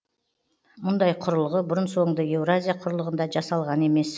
мұндай құрылғы бұрын соңды еуразия құрлығында жасалған емес